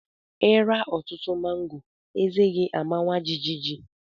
Ịra ọtụtụ mango, eze gi amawa jijiji